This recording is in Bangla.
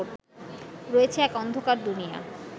রয়েছে এক অন্ধকার দুনিয়া